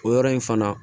O yɔrɔ in fana